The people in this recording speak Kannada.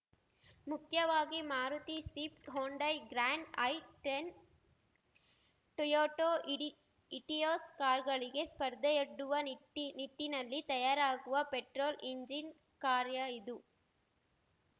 ಮುಖ್ಯವಾಗಿ Maruti Swift Hyundai Grand i ten Toyota ಇಡಿ ಇಟಿಯೋಸ್‌ ಕಾರ್ಗಳಿಗೆ ಸ್ಪರ್ಧೆಯೊಡ್ಡುವ ನಿಟ್ಟಿ ನಿಟ್ಟಿನಲ್ಲಿ ತಯಾರಾಗುವ ಪೆಟ್ರೋಲ್‌ ಇಂಜಿನ್‌ ಕಾರ್ಯ ಇದು